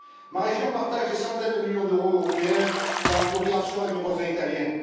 Ma région partage des centaines de millions d'euros européens dans la coopération avec mes voisins italiens.